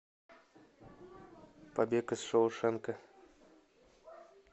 побег из шоушенка